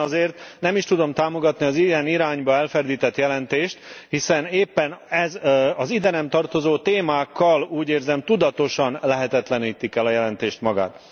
Éppen ezért nem is tudom támogatni az ilyen irányba elferdített jelentést, hiszen éppen ez az ide nem tartozó témákkal tudatosan lehetetlenítik el a jelentést magát.